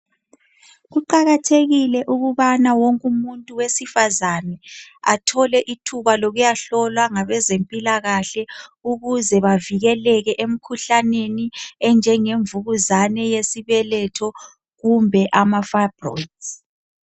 Kuqakathekile ukubana wonke umuntu wesifazana athole ithumba lokuyahlolwa ngabezempila kahle ukuze bavikeleke emkhuhlaneni enjenge mvukuzane yesibeletho kumbe amafayibrosi